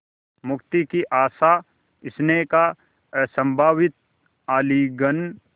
मुक्ति की आशास्नेह का असंभावित आलिंगन